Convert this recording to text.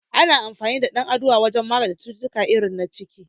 Ana amfani da dan aduwa wajen magance cututtuka irin na ciki